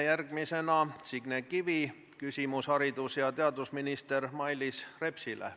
Järgmisena on Signe Kivil küsimus haridus- ja teadusminister Mailis Repsile.